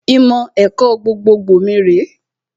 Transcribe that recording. Ìmọ̀ ẹ̀kọ́ gbogbogbò mi rèé